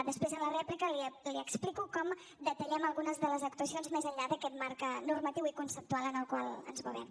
després en la rèplica li explico com detallem algunes de les actuacions més enllà d’aquest marc normatiu i conceptual en el qual ens movem